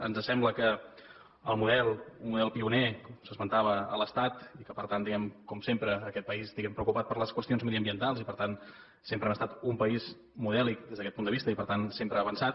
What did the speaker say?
ens sembla que el model un model pioner s’esmentava a l’estat i que per tant diguem ne com sempre aquest país diguem ne preocupat per les qüestions mediambientals i per tant sempre hem estat un país modèlic des d’aquest punt de vista i per tant sempre avançat